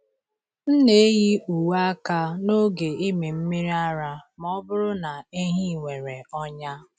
M na-eyi uwe aka n’oge ịmị mmiri ara ma ọ bụrụ na ehi nwere ọnya.